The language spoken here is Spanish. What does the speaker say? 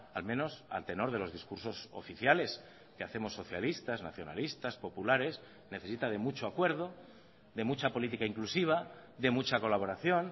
al menos al tenor de los discursos oficiales que hacemos socialistas nacionalistas populares necesita de mucho acuerdo de mucha política inclusiva de mucha colaboración